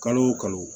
Kalo o kalo